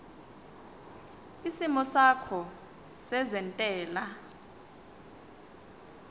isimo sakho sezentela